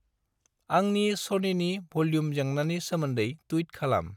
आंनि सनिनि भुल्युम जेंनानि सोमोन्दै टुइट खालाम।